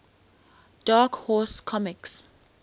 dark horse comics